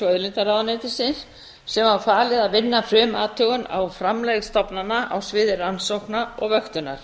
auðlindaráðuneytisins sem var falið að vinna frumathugun á framlegð stofnana á sviði rannsókna og vöktunar